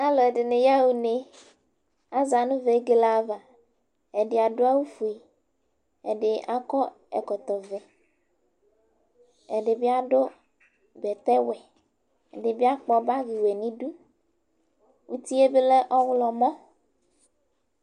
Alʋ ɛdɩnɩ ya ɣa une; Aza nʋ vegele avaƐdɩ adʋ awʋ fue, ɛdɩ akɔ ɛkɔtɔ vɛ, ɛdɩ bɩ adʋ bɛtɛ wɛ; ɛdɩ bɩ akpɔ bagɩ yǝ nʋ idu, utie bɩ lɛ ɔɣlɔmɔ